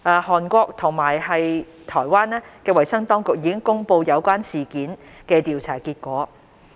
韓國及台灣衞生當局已公布有關事件的調查結果。